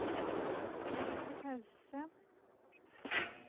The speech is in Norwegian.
pause